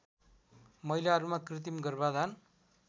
महिलाहरूमा कृत्रिम गर्भाधान